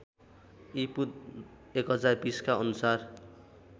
ईपू १०२० का अनुसार